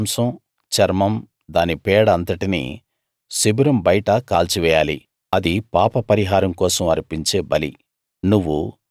ఆ దూడ మాంసం చర్మం దాని పేడ అంతటినీ శిబిరం బయట కాల్చివెయ్యాలి అది పాప పరిహారం కోసం అర్పించే బలి